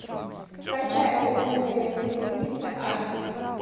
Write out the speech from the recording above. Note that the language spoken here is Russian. скачай огненные колесницы аш ди